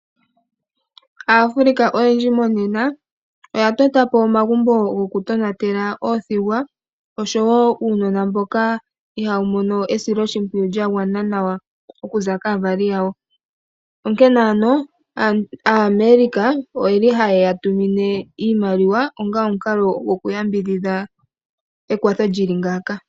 Aafrica oyendji monena oya totapo omagumbo goku tonatela oothigwa oshowo uunona mboka ihawu mono esiloshimpwiyu lyagwana nawa okuza kaavali yawo. Onkene ano aAmerica oyeli haya tumine iimaliwa onga omukalo goku yambidhidha ekwatho lyili ngaaka.